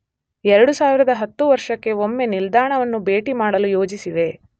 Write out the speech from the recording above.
2010 ವರ್ಷಕ್ಕೆ ಒಮ್ಮೆ ನಿಲ್ದಾಣವನ್ನು ಭೇಟಿಮಾಡಲು ಯೋಜಿಸಿವೆ.